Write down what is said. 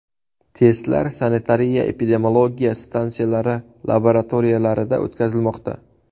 Testlar sanitariya-epidemiologiya stansiyalari laboratoriyalarida o‘tkazilmoqda.